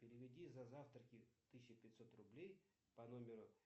переведи за завтраки тысяча пятьсот рублей по номеру